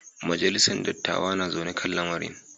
Majalisar dattawa na zaune kan lamarin.